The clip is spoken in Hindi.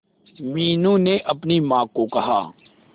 मीनू ने अपनी मां को कहा